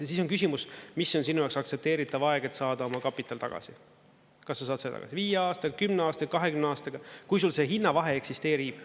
Ja siis on küsimus, mis on sinu jaoks aktsepteeritav aeg, et saada oma kapital tagasi, kas sa saad seda viie aastaga, kümne aastaga, 20 aastaga, kui sul see hinnavahe eksisteerib.